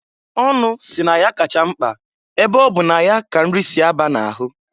Ọnụ si na ya kacha mkpa ebe ọ bụ na ya ka nrị si a ba na-ahụ.